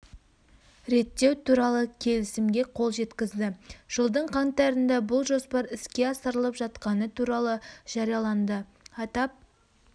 реттеу туралы келісімге қол жеткізді жылдың қаңтарында бұл жоспар іске асырылып жатқаны туралы жарияланды атап